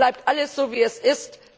Dann bleibt alles so, wie es ist.